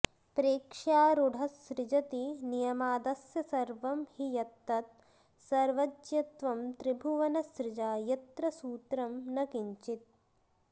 प्रेक्ष्यारूढस्सृजति नियमादस्य सर्वं हि यत्तत् सर्वज्ञत्वं त्रिभुवन सृजा यत्र सूत्रं न किञ्चित्